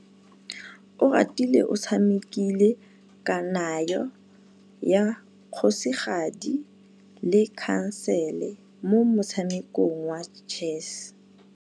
Oratile o tshamekile kananyô ya kgosigadi le khasêlê mo motshamekong wa chess.